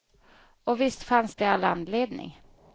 Och visst fanns det all anledning.